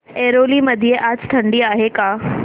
ऐरोली मध्ये आज थंडी आहे का